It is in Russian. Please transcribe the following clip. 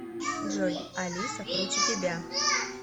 джой алиса круче тебя